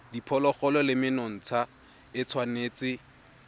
diphologolo le menontsha e tshwanetse